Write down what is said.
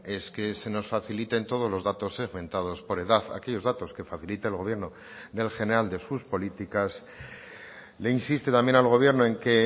es que se nos faciliten todos los datos segmentados por edad aquellos datos que facilite el gobierno del general de sus políticas le insiste también al gobierno en que